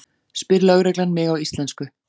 spyr lögreglan mig á íslensku.